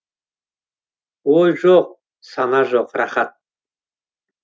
ой жоқ сана жоқ рақат